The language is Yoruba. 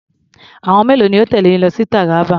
Àwọn mélòó ló tẹ̀lé yín lọ sí Taraba?